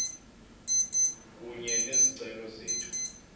kunye nezicelo zethu